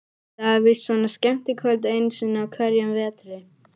Það er víst svona skemmtikvöld einu sinni á hverjum vetri.